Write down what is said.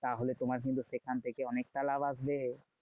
তাহলে তোমার কিন্তু সেখান থেকে অনেকটা লাভ আসবে।